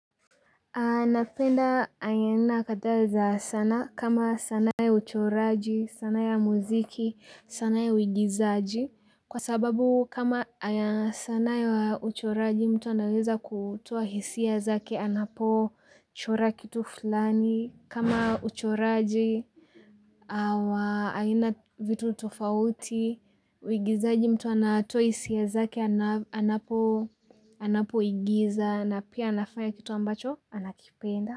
Napenda aina kadhaa za sana kama sanaa ya uchoraji, sanaa ya muziki, sanaa ya uigizaji. Kwa sababu kama sanaa ya uchoraji mtu anaweza kutoa hisia zaki anapo chora kitu fulani. Kama uchoraji, vitu tofauti, uigizaji mtu anatoa hisia zake anapoigiza na pia anafanya kitu ambacho anakipenda.